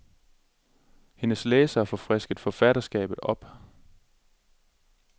Hendes læsere får frisket forfatterskabet op.